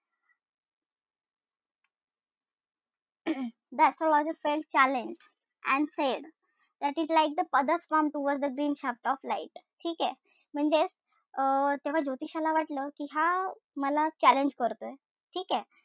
The astrologer felt challenged and said tilting the others palm towards the green shaft of light ठीकेय? म्हणजेच अं जेव्हा ज्योतिषाला वाटलं कि हा मला challenge करतोय. ठीकेय?